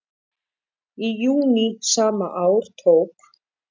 Í júní sama ár tók